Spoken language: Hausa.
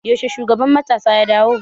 Yaushe shugaban matasa ya dawo?